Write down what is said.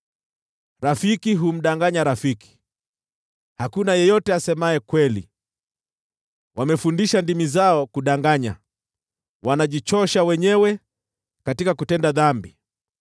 Rafiki humdanganya rafiki, hakuna yeyote asemaye kweli. Wamefundisha ndimi zao kudanganya, wanajichosha wenyewe katika kutenda dhambi.